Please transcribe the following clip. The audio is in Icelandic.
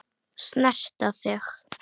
Snerta þig.